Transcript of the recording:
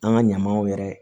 An ka ɲamanw yɛrɛ